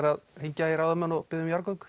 að hringja í ráðamenn og biðja um jarðgöng